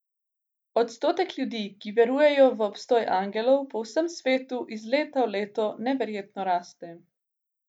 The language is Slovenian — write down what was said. Odstotek ljudi, ki verujejo v obstoj angelov, po vsem svetu iz leta v leto neverjetno raste.